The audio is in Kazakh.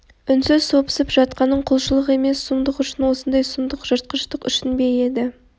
үнсіз сопысып жатқаның құлшылық емес сұмдық үшін осындай сұмдық жыртқыштық үшін бе еді